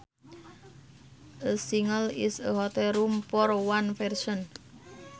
A single is a hotel room for one person